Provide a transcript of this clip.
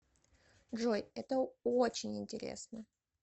джой это очень интересно